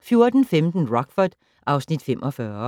14:15: Rockford (Afs. 45)